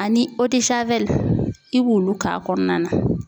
Ani i b'olu k'a kɔnɔna na